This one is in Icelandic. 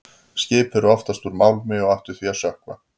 Skip eru oftast úr málmi og ættu því að sökkva.